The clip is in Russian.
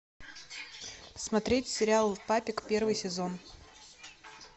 смотреть сериал папик первый сезон